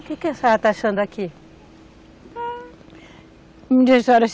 O que que a senhora está achando daqui?